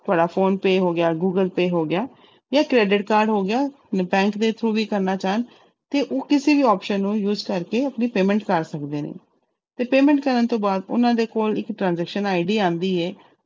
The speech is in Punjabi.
ਤੁਹਾਡਾ ਫੋਨਪੇਅ ਹੋ ਗਿਆ, ਗੂਗਲਪੇਅ ਹੋ ਗਿਆ ਜਾਂ credit card ਹੋ ਗਿਆ bank ਦੇ through ਵੀ ਕਰਨਾ ਚਾਹੁਣ ਤੇ ਉਹ ਕਿਸੇ ਵੀ option ਨੂੰ use ਕਰਕੇ ਆਪਣੀ payment ਕਰ ਸਕਦੇ ਨੇ, ਤੇ payment ਕਰਨ ਤੋਂ ਬਾਅਦ ਉਹਨਾਂ ਦੇ ਕੋਲ ਇੱਕ transaction ID ਆਉਂਦੀ ਹੈ,